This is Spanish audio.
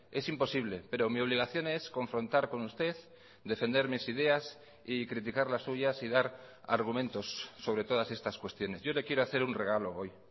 es imposible pero mi obligación es confrontar con usted defender mis ideas y criticar las suyas y dar argumentos sobre todas estas cuestiones yo le quiero hacer un regalo hoy